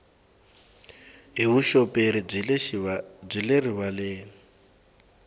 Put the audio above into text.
hi vuxoperi byi le rivaleni